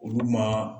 Olu ma